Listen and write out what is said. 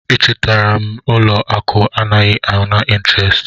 A chọtara m ụlọ akụ anaghị ana intirest.